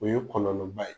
O ye kɔlɔlɔba ye